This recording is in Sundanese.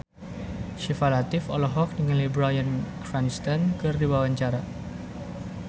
Syifa Latief olohok ningali Bryan Cranston keur diwawancara